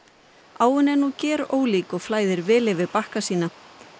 áin er nú gerólík og flæðir vel yfir bakka sína